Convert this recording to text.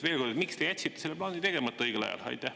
Veel kord: miks te jätsite selle plaani õigel ajal tegemata?